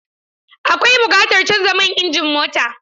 Akwai buƙatar canza man injin mota.